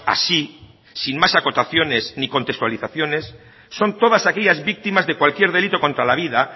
así sin más acotaciones ni contextualizaciones son todas aquellas víctimas de cualquier delito contra la vida